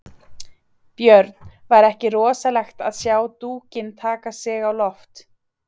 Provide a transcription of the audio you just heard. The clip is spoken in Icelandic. Björn: Var ekki rosalegt að sjá dúkinn taka sig á loft?